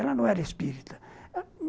Ela não era espírita.